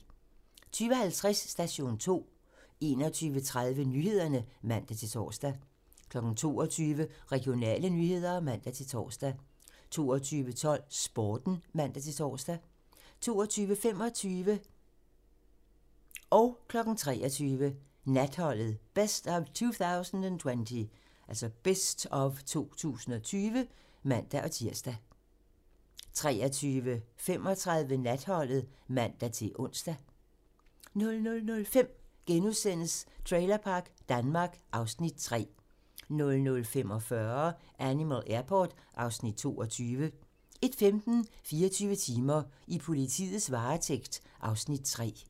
20:50: Station 2 21:30: Nyhederne (man-tor) 22:00: Regionale nyheder (man-tor) 22:12: Sporten (man-tor) 22:25: Natholdet - Best of 2020 (man-tir) 23:00: Natholdet - Best of 2020 (man-tir) 23:35: Natholdet (man-ons) 00:05: Trailerpark Danmark (Afs. 3)* 00:45: Animal Airport (Afs. 22) 01:15: 24 timer: I politiets varetægt (Afs. 3)